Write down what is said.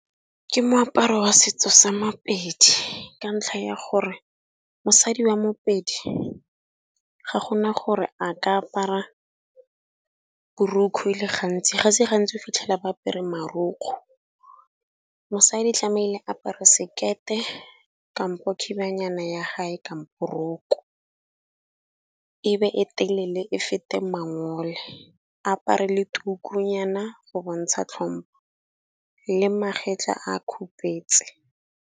Ke moaparo wa setso sa Mapedi ka ntlha ya gore, mosadi wa Mopedi ga gona gore a ka apara borokgwe e le gantsi, ga se gantsi o fitlhela ba apere marukgo. Mosadi tlamehile a apare sekete, kampo khibanyana ya gae, kampo roko ebe e telele e fete mangole, apare le tukunyana go bontsha tlhompho le magetla a khupetse.